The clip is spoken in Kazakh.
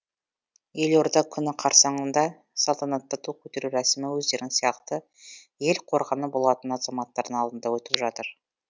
елорда күні қарсаңында салтанатты ту көтеру рәсімі өздерің сияқты ел қорғаны болатын азаматтардың алдында өтіп жатыр